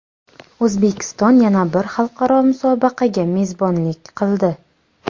O‘zbekiston yana bir xalqaro musobaqaga mezbonlik qildi.